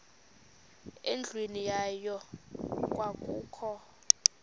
endlwini yayo kwakukho